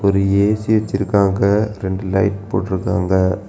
இங்க ஏ_சி வச்சிருக்காங்க ரெண்டு லைட் போட்ருக்காங்க.